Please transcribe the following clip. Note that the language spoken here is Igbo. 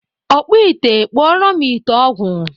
Ọkpụ ite kpụọrọ ite ọgwụ!